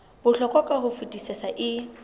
bohlokwa ka ho fetisisa e